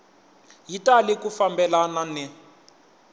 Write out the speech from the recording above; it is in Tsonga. yi tali ku fambelana ni